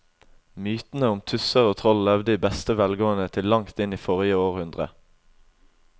Mytene om tusser og troll levde i beste velgående til langt inn i forrige århundre.